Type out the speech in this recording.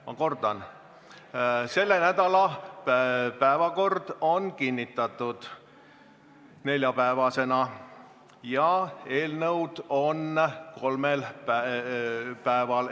Ma kordan, selle nädala päevakord on kinnitatud neljapäevasena ja eelnõude arutelu on kolmel päeval.